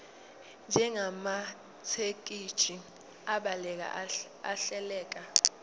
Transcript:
njengamathekisthi abhaleke ahleleka